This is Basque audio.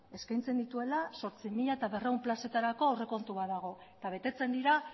eskaintzen dituela zortzi mila berrehun plazetarako aurrekontu bat dago eta betetzen dira